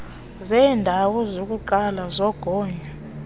zeendawo zokuqala zogonyo